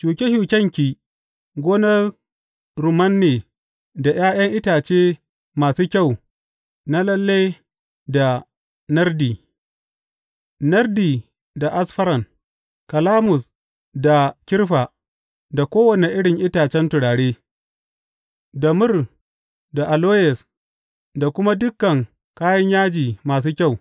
Shuke shukenki gonar rumman ne da ’ya’yan itace masu kyau na lalle da nardi, nardi, da asfaran, kalamus, da kirfa, da kowane irin itacen turare, da mur da aloyes da kuma dukan kayan yaji masu kyau.